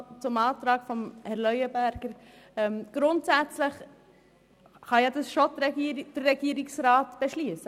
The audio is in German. Zum Antrag der BDP: Grundsätzlich kann das der Regierungsrat beschliessen.